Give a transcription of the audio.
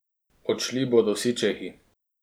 Odšli bodo vsi čehi.